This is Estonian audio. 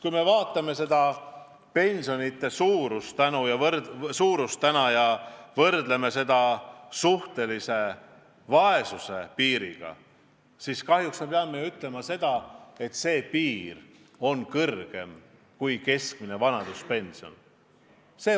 Kui me vaatame pensionide suurust ja võrdleme seda suhtelise vaesuse piiriga, siis kahjuks peame ju ütlema, et vaesuspiir on kõrgem kui keskmine vanaduspension.